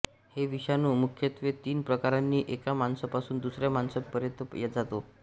हे विषाणू मुख्यत्वे तीन प्रकारांनी एका माणसापासून दुसऱ्या माणसापर्यंत जातो